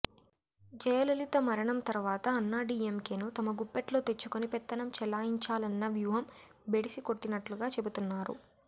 జయలలిత మరణం తర్వాత అన్నాడీఎంకేను తమ గుప్పిట్లో తెచ్చుకొని పెత్తనం చెలాయించాలన్న వ్యూహం బెడిసి కొట్టినట్లుగా చెబుతున్నారు